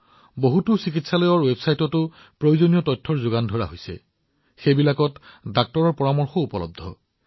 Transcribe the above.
বহুতো চিকিৎসালয়ৰ ৱেবছাইট আছে যত তথ্যও উপলব্ধ আৰু আপুনি তাত চিকিৎসকৰ পৰামৰ্শও লব পাৰে